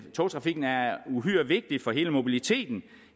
togtrafikken er uhyre vigtig for hele mobiliteten